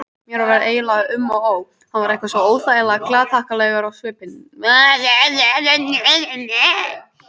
Mér var eiginlega um og ó, hann var eitthvað svo óþægilega glaðhlakkalegur á svipinn.